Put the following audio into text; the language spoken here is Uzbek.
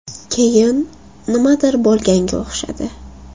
Keyin nimadir bo‘lganga o‘xshadi.